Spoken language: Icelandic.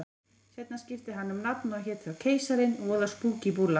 Seinna skipti hann um nafn og hét þá Keisarinn, voða spúkí búlla.